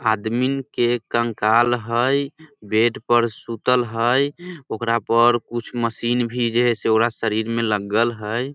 आदमी के कंकाल हेय बेड पर सुतल हेय ओकरा पर कुछ मशीन जे भी हेय ओकरा शरीर में लगल हेय।